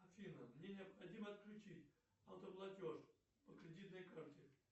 афина мне необходимо отключить автоплатеж по кредитной карте